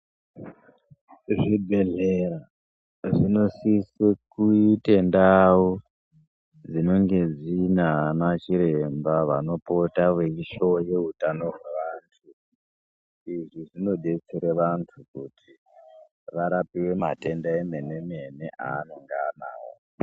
Zvibhedhera zvinosisa kuite ndau dzinenge dzinanachiremba vanopota vachihloye hutano hwevantu. Izvi zvinodetsere antu kuti varapiwe matenda emene-mene eanonga anawo.